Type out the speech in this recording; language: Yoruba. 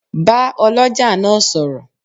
Bá oloja náà sọ̀rọ̀.